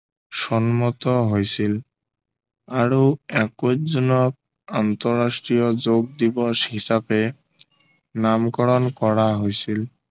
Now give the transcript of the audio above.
সন্মত হৈছিল আৰু একৈশ জোনক আন্তৰাষ্ট্ৰীয় যোগ দিৱস হিচাপে নামকৰণ কৰা হৈছিল